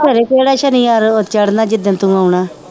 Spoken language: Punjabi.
ਖਰੇ ਕਿਹੜਾ ਸਨੀਵਾਰ ਚੜ੍ਹਨਾ ਜਿੱਦਣ ਤੂੰ ਆਉਣਾ